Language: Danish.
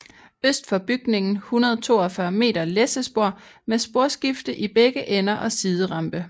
Øst for bygningen 142 m læssespor med sporskifte i begge ender og siderampe